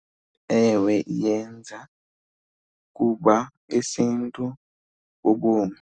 Ewe, iyenza kuba isiNtu bubomi.